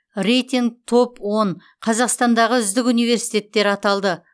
рейтинг топ он қазақстандағы үздік университеттер аталды